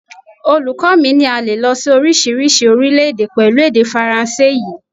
Olùkọ́ mi ní a lè lọ sí oríṣiríṣi orílẹ̀-èdè pẹ̀lú èdè Faransé yìí.